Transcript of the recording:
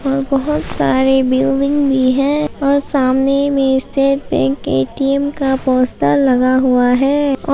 और बहुत सारे बिल्डिंग भी है और सामने में स्टेट बैंक ए_टी_एम का पोस्टर लगा हुआ है और--